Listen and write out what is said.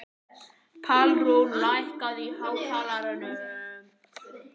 Pálrún, lækkaðu í hátalaranum.